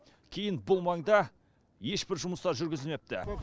кейін бұл маңда ешбір жұмыстар жүргізілмепті